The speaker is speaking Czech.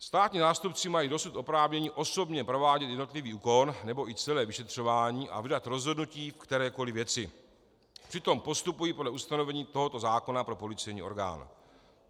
Státní zástupci mají dosud oprávnění osobně provádět jednotlivý úkon nebo i celé vyšetřování a vydat rozhodnutí v kterékoli věci, přitom postupují podle ustanovení tohoto zákona pro policejní orgán.